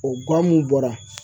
O gan mun bɔra